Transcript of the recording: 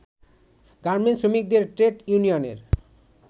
garments শ্রমিকদের trade ইউনিয়নের